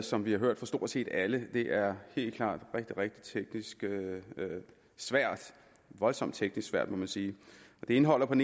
som vi har hørt fra stort set alle helt klart rigtig rigtig teknisk svært voldsomt teknisk svært må man sige det indeholder en